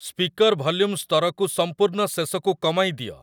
speaker volume ସ୍ତରକୁ ସମ୍ପୂର୍ଣ୍ଣ ଶେଷକୁ କମାଇ ଦିଅ